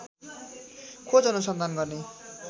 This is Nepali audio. खोज अनुसन्धान गर्ने